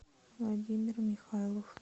владимир михайлов